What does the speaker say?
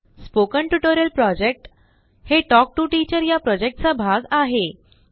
spoken tutorial project talk to टिचरप्रोजेक्टचा एक भाग आहे